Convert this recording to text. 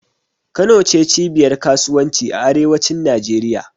Kano ne cibiyar kasuwanci a arewacin Najeriya.